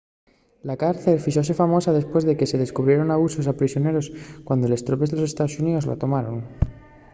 la cárcel fíxose famosa depués de que se descubrieren abusos a prisioneros cuando les tropes de los estaos xuníos la tomaron